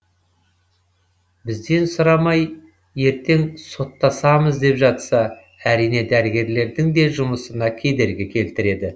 бізден сұрамай ертең соттасамыз деп жатса әрине дәрігерлердің де жұмысына кедергі келтіреді